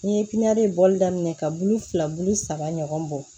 N'i ye piminali bɔli daminɛ ka bulu fila bulu saba ɲɔgɔn bɔ